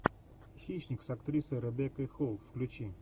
хищник с актрисой ребеккой холл включи